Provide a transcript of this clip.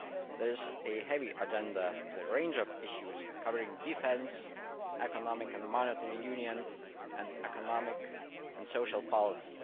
There is a heavy agenda, with a range of issues covering defence, economic and monetary union, and economic and social policy.